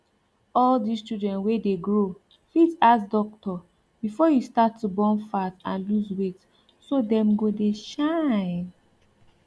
all this children wey de grow fit ask doctor before you start to burn fat and lose weight so dem go dey shine